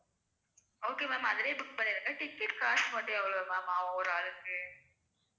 okay ma'am அதிலயே book பண்ணிடுங்க ticket க்கு காசு மட்டும் எவ்வளவு ma'am ஒரு ஆளுக்கு